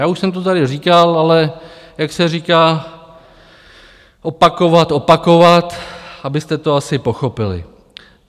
Já už jsem to tady říkal, ale jak se říká - opakovat, opakovat, abyste to asi pochopili.